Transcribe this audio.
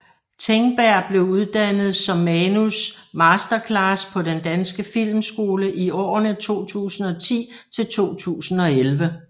Tengberg blev uddannet som Manus Masterclass på Den Danske Filmskole i årene 2010 til 2011